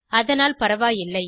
அதனால் பரவாயில்லை